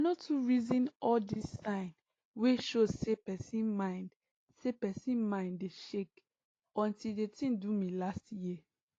i no too reason all dis sign wey show say person mind say person mind dey shake until d tin do me last year